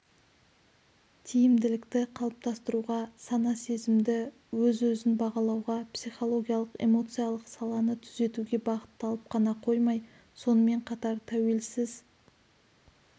тиімділікті қалыптастыруға сана-сезімді өз өзін бағалауға психологиялық-эмоциялық саланы түзетуге бағытталып қана қоймай сонымен қатар тәуелсіз